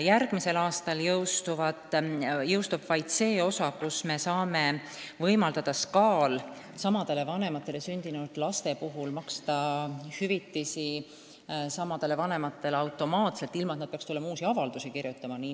Järgmisel aastal jõustub vaid see osa, tänu millele me saame võimaldada Sotsiaalkindlustusametil samadele vanematele sündinud laste puhul maksta hüvitisi samadele vanematele automaatselt, ilma et nad peaksid uusi avaldusi kirjutama.